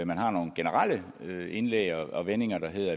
man har nogle generelle indlæg og vendinger der hedder